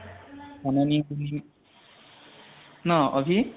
পুলি ন আভি?